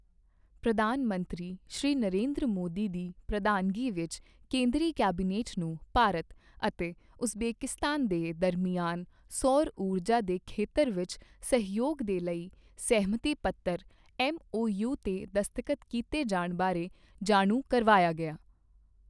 ਪ੍ਰਧਾਨ ਮੰਤਰੀ ਸ਼੍ਰੀ ਨਰਿੰਦਰ ਮੋਦੀ ਦੀ ਪ੍ਰਧਾਨਗੀ ਵਿੱਚ ਕੇਂਦਰੀ ਕੈਬਨਿਟ ਨੂੰ ਭਾਰਤ ਅਤੇ ਉਜ਼ਬੇਕਿਸਤਾਨ ਦੇ ਦਰਮਿਆਨ ਸੌਰ ਊਰਜਾ ਦੇ ਖੇਤਰ ਵਿੱਚ ਸਹਿਯੋਗ ਦੇ ਲਈ ਸਹਿਮਤੀ ਪੱਤਰ ਐੱਮਓਯੂ ਤੇ ਦਸਤਖ਼ਤ ਕੀਤੇ ਜਾਣ ਬਾਰੇ ਜਾਣੂ ਕਰਵਾਇਆ ਗਿਆ।